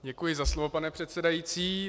Děkuji za slovo, pane předsedající.